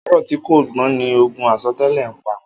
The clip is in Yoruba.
Áàrọ̀ ti kó gbọ̀n ni ógùn àsọtẹlẹ̀ n pá